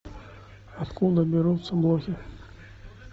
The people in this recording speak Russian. откуда берутся лохи